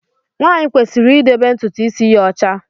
Nwanyi kwesịrị idebe ntụtụ isi ya ọcha.